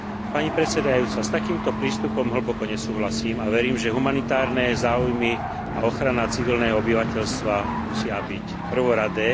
Pani predsedajúca, s takýmto prístupom hlboko nesúhlasím a verím, že humanitárne záujmy a ochrana civilného obyvateľstva musia byť prvoradé.